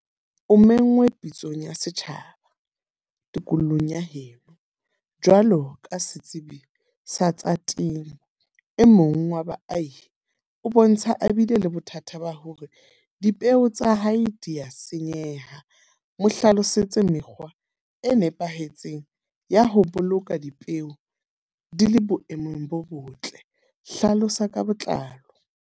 O menngwe pitsong ya setjhaba, tikolong ya heno. Jwalo ka setsibi sa tsa temo, e mong wa baahi o bontsha a bile le bothata ba hore dipeo tsa hae di ya senyeha. Mo hlalosetse mekgwa e nepahetseng ya ho boloka dipeo di le boemong bo botle. Hlalosa ka botlalo.